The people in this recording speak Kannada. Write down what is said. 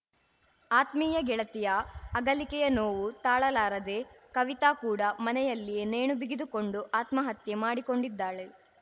ಆತ್ಮೀಯ ಗೆಳತಿಯ ಅಗಲಿಕೆಯ ನೋವು ತಾಳಲಾರದೆ ಕವಿತಾ ಕೂಡ ಮನೆಯಲ್ಲಿಯೇ ನೇಣುಬಿಗಿದುಕೊಂಡು ಆತ್ಮಹತ್ಯೆ ಮಾಡಿಕೊಂಡಿದ್ದಾಳೆ